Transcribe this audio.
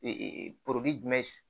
jumɛn